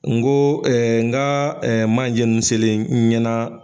N ko n nka manjɛ ninnu selen n ɲɛna